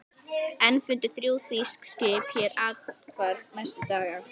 Enn fundu þrjú þýsk skip hér athvarf næstu daga.